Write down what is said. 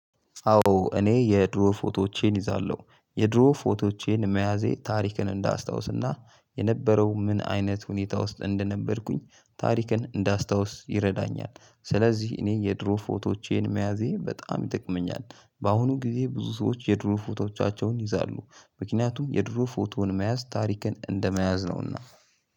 አዎ እኔ የድሮ ፎቶዎቼን ይዛለሁ። የድሮ ፎቶዎቼን መያዜ ታሪክን እንዳስታውስና የነበረው ምን አይነት ሁኔታ ውስጥ እንደነበርኩኝ ታሪክን እንዳስታውስ ይረዳኛል። ስለዚህ እኔ የድሮ ፎቶዎቼን መያዜ በጣም ይጠቅመኛል። በአሁኑ ጊዜ ብዙ ሰዎች የድሮ ፎቶዎቻቸውን ይይዛሉ። ምክንያቱም የድሮ ፎቶን መያዝ ታሪክን እንደመያዝ ነውና